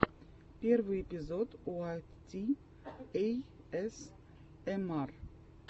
первый эпизод уайт ти эйэсэмар